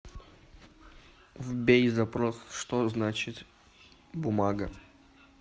вбей запрос что значит бумага